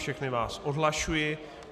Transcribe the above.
Všechny vás odhlašuji.